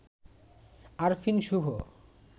Arfin Shubho